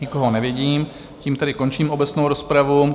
Nikoho nevidím, tím tedy končím obecnou rozpravu.